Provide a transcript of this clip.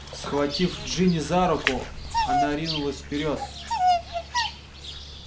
схватив джинни за руку она ринулась вперёд